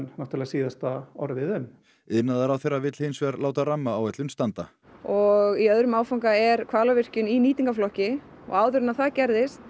síðasta orðið um iðnaðarráðherra vill hinsvegar láta rammaáætlun standa og í öðrum áfanga er Hvalárvirkjum í nýtingarflokki og áður en það gerðist